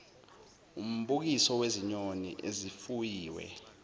umbukiso wezinyoni ezifuyiwe